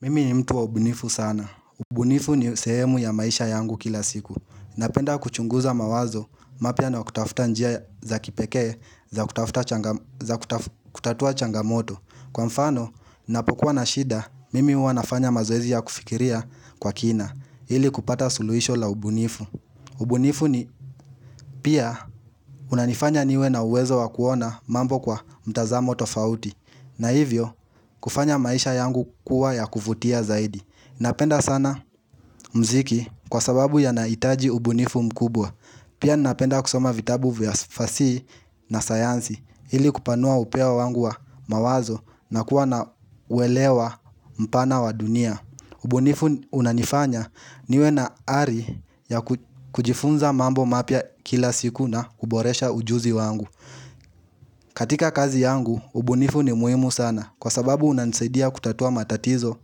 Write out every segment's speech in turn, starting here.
Mimi ni mtu wa ubunifu sana. Ubunifu ni sehemu ya maisha yangu kila siku. Napenda kuchunguza mawazo mapya na kutafuta njia za kipekee za kutatua changamoto. Kwa mfano, napokuwa na shida, mimi huwa nafanya mazoezi ya kufikiria kwa kina, ili kupata suluhisho la ubunifu. Ubunifu ni pia unanifanya niwe na uwezo wa kuona mambo kwa mtazamo tofauti. Na hivyo, kufanya maisha yangu kuwa ya kuvutia zaidi. Napenda sana mziki kwa sababu yanahitaji ubunifu mkubwa Pia napenda kusoma vitabu vya fasihi na sayansi, ili kupanua upeo wangu wa mawazo na kuwa na uwelewa mpana wa dunia. Ubunifu unanifanya niwe na ari ya kujifunza mambo mapya kila siku na kuboresha ujuzi wangu katika kazi yangu, ubunifu ni muhimu sana kwa sababu unanisaidia kutatua matatizo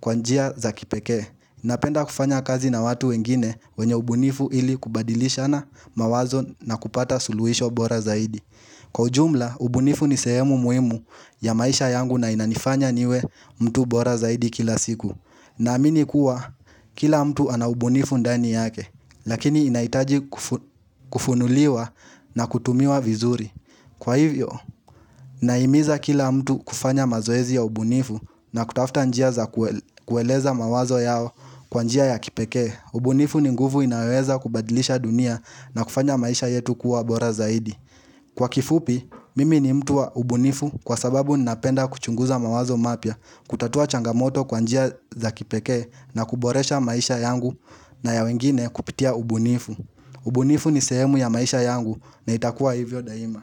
kwa njia za kipekee. Napenda kufanya kazi na watu wengine wenye ubunifu ili kubadilishana mawazo na kupata suluhisho bora zaidi. Kwa ujumla, ubunifu ni sehemu muhimu ya maisha yangu na inanifanya niwe mtu bora zaidi kila siku. Naamini kuwa, kila mtu ana ubunifu ndani yake, lakini inahitaji kufunuliwa na kutumiwa vizuri. Kwa hivyo, nahimiza kila mtu kufanya mazoezi ya ubunifu na kutafuta njia za kueleza mawazo yao kwa njia ya kipekee, ubunifu ni nguvu inaweza kubadilisha dunia na kufanya maisha yetu kuwa bora zaidi. Kwa kifupi, mimi ni mtu wa ubunifu kwa sababu ninapenda kuchunguza mawazo mapya, kutatua changamoto kwa njia za kipekee na kuboresha maisha yangu na ya wengine kupitia ubunifu. Ubunifu ni sehemu ya maisha yangu na itakuwa hivyo daima.